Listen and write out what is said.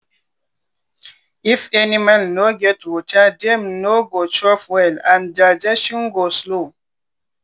if animal no get water dem no go chop well and digestion go slow.